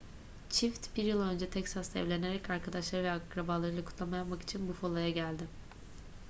çift bir yıl önce texas'ta evlenerek arkadaşları ve akrabalarıyla kutlama yapmak için buffalo'ya geldi